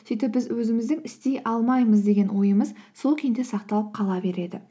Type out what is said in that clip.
сөйтіп біз өзіміздің істей алмаймыз деген ойымыз сол күйінде сақталып қала береді